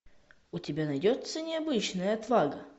у тебя найдется необычная отвага